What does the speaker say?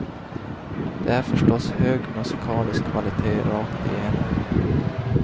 Det är förstås hög musikalisk kvalitet rakt igenom.